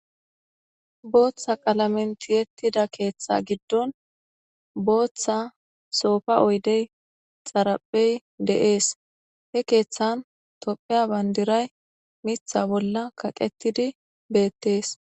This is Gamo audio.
booththa qalamentiyettida keeththa giddon booththa soofa oydey xaraphey de'ees he keeththan topheya bandiray mitha bolla kaqetidi beettees